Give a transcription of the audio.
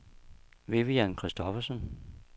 Vivian Kristoffersen